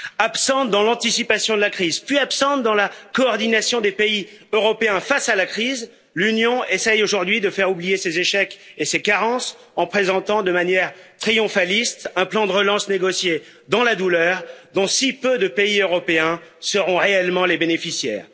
Absente dans l'anticipation de la crise puis absente dans la coordination des pays européens face à la crise, l'Union essaye aujourd'hui de faire oublier ses échecs et ses carences en présentant, de manière triomphaliste, un plan de relance négocié dans la douleur dont si peu de pays européens seront réellement les bénéficiaires.